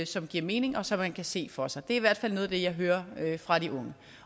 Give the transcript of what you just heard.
som giver mening og som man kan se for sig det er i hvert fald noget af det jeg hører fra de unge